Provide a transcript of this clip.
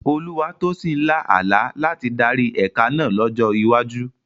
Olúwatósìn lá àlá láti darí ẹ̀ka náà lọ́jọ́ iwájú.